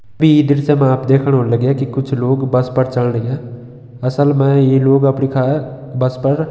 ई दृश्य मा आप देखण होण लग्यां की कुछ लोग बस पर चण लग्यां असल मा ई लोग बस पर --